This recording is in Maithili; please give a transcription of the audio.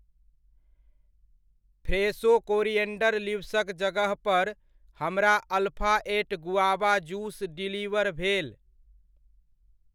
फ्रेशो कोरिएन्डर लीव्सक जगह पर हमरा alpha eight guava juice deliver भेल।